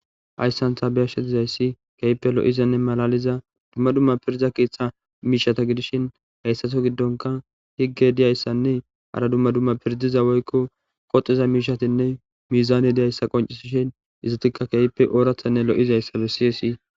ayssantha beyashe dizayssi keyppe lo7izanne malaliza dumma dumma piriza keeththa miishata gidishin hayssato giddonka higge diyayssanne hara dumma dumma pirdiza woykko qoxiza miishatinne miizaane diyayssa qoncisishin izatikka keyippe oorathanne lo7izayssa be siyesi